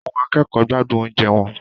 Àwọn akẹ́kọ̀ọ́ ń gbádùn oúnjẹ wọn.